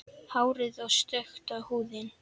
Hárið er stökkt og húðin.